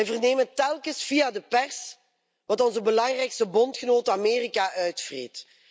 Wij vernemen telkens via de pers wat onze belangrijkste bondgenoot Amerika uitvreet.